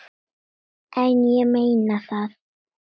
En ég meina það.